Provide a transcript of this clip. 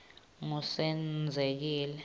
ngusenzekile